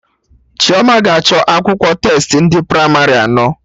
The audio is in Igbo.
Chioma ga-achọ akwụkwọ testi ndị pramarị anọ